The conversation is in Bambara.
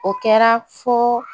O kɛra fo